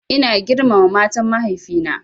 Ina girmama matan mahaifi na